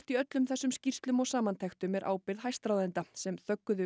í öllum þessum skýrslum og samantektum er ábyrgð hæstráðenda sem